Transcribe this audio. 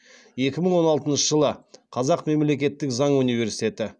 екі мың он алтыншы жылы қазақ мемлекеттік заң университет